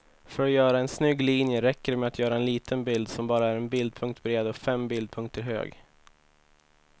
För att göra en snygg linje räcker det med att göra en liten bild som bara är en bildpunkt bred och fem bildpunkter hög.